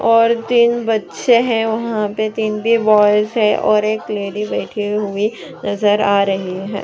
और तीन बच्चे है वहाँ पे तीन-तीन बॉयज है और एक लेडी बैठी हुई नज़र आ रही है ।